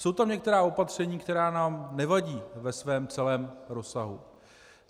Jsou tam některá opatření, která nám nevadí ve svém celém rozsahu.